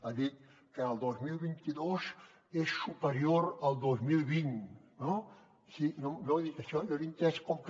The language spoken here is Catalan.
ha dit que el dos mil vint dos és superior al dos mil vint no no ha dit això jo l’he entès com que